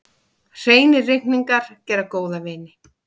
Hreinir reikningar gera góða vini.